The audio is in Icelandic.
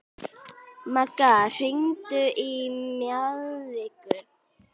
Maggi, hringdu í Mjaðveigu.